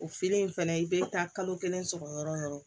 O feere in fɛnɛ i bɛ taa kalo kelen sɔrɔ yɔrɔ o yɔrɔ